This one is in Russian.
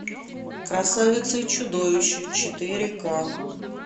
красавица и чудовище четыре ка